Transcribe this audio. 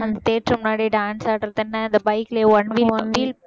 அந்த theater முன்னாடி dance ஆடுறது என்ன அந்த bike ல